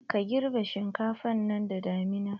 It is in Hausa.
Ka girɓe shinkafan nan da damina!